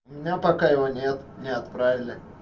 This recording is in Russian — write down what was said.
у меня пока его нет не отправили